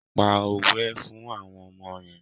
Pa òwe fún àwọn ọmọ yẹn.